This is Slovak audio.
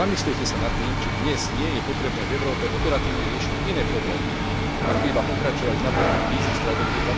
Zamyslite sa nad tým, či dnes nie je potrebné v Európe operatívne riešiť iné problémy, ako iba pokračovať v napĺňaní vízií stratégie